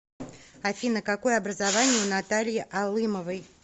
афина какое образование у натальи алымовой